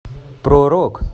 про рок